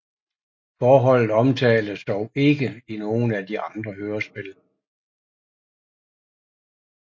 Forholdet omtales dog ikke i nogen af de andre hørespil